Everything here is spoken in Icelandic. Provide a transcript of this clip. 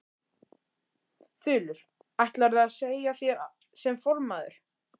Þulur: Ætlarðu að segja af þér sem formaður?